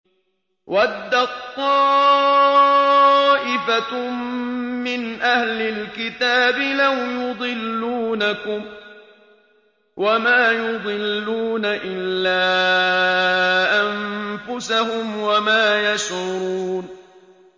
وَدَّت طَّائِفَةٌ مِّنْ أَهْلِ الْكِتَابِ لَوْ يُضِلُّونَكُمْ وَمَا يُضِلُّونَ إِلَّا أَنفُسَهُمْ وَمَا يَشْعُرُونَ